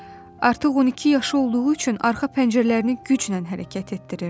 Artıq 12 yaşı olduğu üçün arxa pəncərələrini güclə hərəkət etdirirdi.